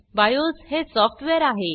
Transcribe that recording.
BIOS हे software आहे